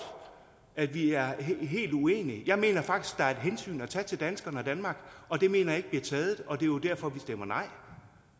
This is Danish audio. at vi er helt uenige jeg mener faktisk der er et hensyn at tage til danskere og danmark og det mener jeg ikke bliver taget og det er jo derfor vi stemmer nej